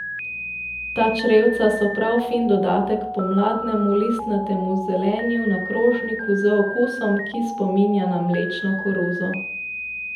Ta črevca so prav fin dodatek pomladnemu listnatemu zelenju na krožniku z okusom, ki spominja na mlečno koruzo.